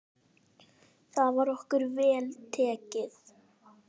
Þar var okkur vel tekið.